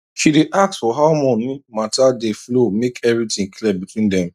she day ask for how money matter dey flow make everything clear between dem